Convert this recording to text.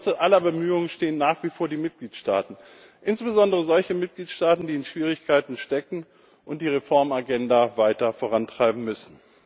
An der Wurzel aller Bemühungen stehen nach wie vor die Mitgliedstaaten, insbesondere solche Mitgliedstaaten, die in Schwierigkeiten stecken und die Reformagenda weiter vorantreiben müssen.